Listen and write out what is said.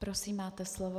Prosím, máte slovo.